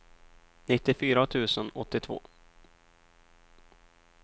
nittiofyra tusen åttiotvå